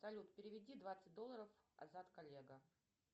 салют переведи двадцать долларов азат коллега